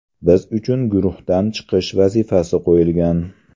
Biz uchun guruhdan chiqish vazifasi qo‘yilgan.